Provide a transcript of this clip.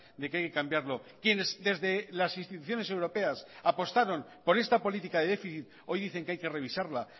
de que hay que cambiarlo quienes desde las instituciones europeas apostaron por esta política de déficit hoy dicen que hay que revisarla